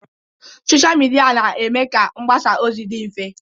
Sochịa midia na-eme ka mgbasa ozi dị mfe.